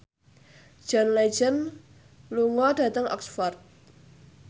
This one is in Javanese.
John Legend lunga dhateng Oxford